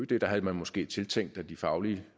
ød havde man måske tiltænkt de faglige